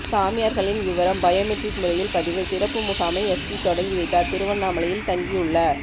சாமியார்களின் விவரம் பயோமெட்ரிக் முறையில் பதிவு சிறப்பு முகாமை எஸ்பி தொடங்கி வைத்தார் திருவண்ணாமலையில் தங்கியுள்ள